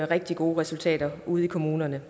rigtig gode resultater ude i kommunerne